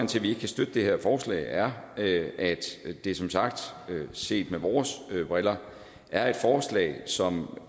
vi ikke kan støtte det her forslag er at det som sagt set med vores briller er et forslag som